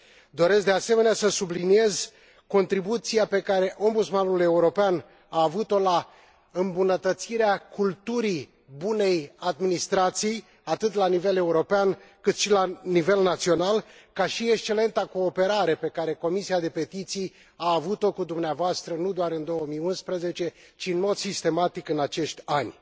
Doresc de asemenea să subliniez contribuția pe care Ombudsmanul European a avut o la îmbunătățirea culturii bunei administrații, atât la nivel european cât și la nivel național, ca și excelenta cooperare pe care Comisia de petiții a avut o cu dumneavoastră nu doar în 2011, ci în mod sistematic în acești ani.